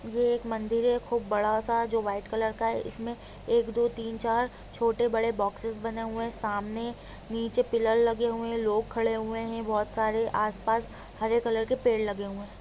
ये एक मंदिर है खूब बड़ा सा जो वाइट कलर का है इसमें एक दो तिन चार छोटे बड़े बॉक्सेस बने हुए है सामने नीचे पिलर लगे हुए है लोग खड़े हुए है बहुत सारे आस-पास हरे कलर के पेड़ लगे हुए है।